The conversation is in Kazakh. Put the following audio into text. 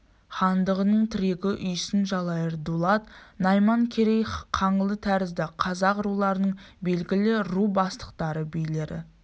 хандығының тірегі үйсін жалайыр дулат найман керей қаңлы тәрізді қазақ руларының белгілі ру бастықтары билері